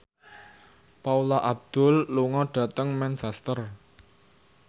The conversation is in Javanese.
Paula Abdul lunga dhateng Manchester